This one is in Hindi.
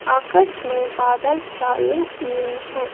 आकाश में बादल छाए हुए हैं।